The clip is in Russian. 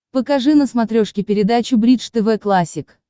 покажи на смотрешке передачу бридж тв классик